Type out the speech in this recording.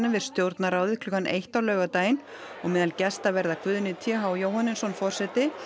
við Stjórnarráðið klukkan eitt á laugardaginn og meðal gesta verða Guðni t h Jóhannesson forseti